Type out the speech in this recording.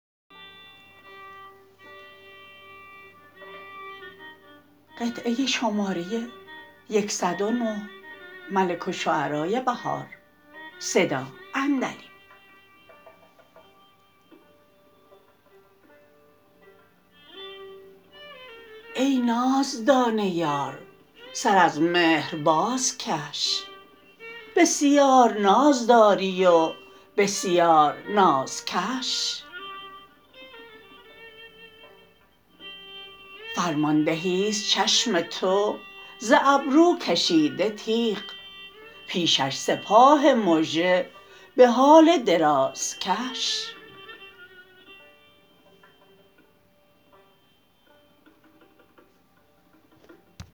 ای نازدانه یار سر از مهر بازکش بسیار ناز داری و بسیار نازکش فرماندهی است چشم تو زابروکشیده تیغ ییشش سپاه مژه به حال درازکش